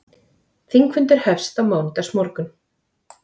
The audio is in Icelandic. Þingfundur hefst á mánudagsmorgun